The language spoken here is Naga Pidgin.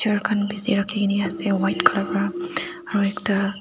rakhikaena ase white colour pra aro ekta--